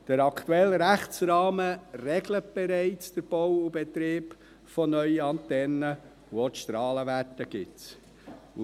Der aktuelle Rechtsrahmen regelt den Bau und Betrieb von neuen Antennen bereits, und auch die Strahlenwerte gibt es.